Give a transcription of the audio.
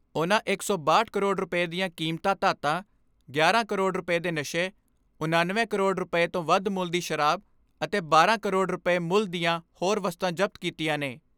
ਉਨ੍ਹਾਂ ਇੱਕ ਸੌ ਬਾਹਠ ਕਰੋੜ ਰੁਪਏ ਦੀਆਂ ਕੀਮਤਾਂ ਧਾਤਾਂ, ਗਿਆਰਾਂ ਕਰੋੜ ਰੁਪਏ ਦੇ ਨਸ਼ੇ, ਉਣਨਵੇਂ ਕਰੋੜ ਰੁਪਏ ਤੋਂ ਵੱਧ ਮੁੱਲ ਦੀ ਸ਼ਰਾਬ ਅਤੇ ਬਾਰਾਂ ਕਰੋੜ ਰੁਪਏ ਮੁੱਲ ਦੀਆਂ ਹੋਰ ਵਸਤਾਂ ਜ਼ਬਤ ਕੀਤੀਆਂ ਨੇ।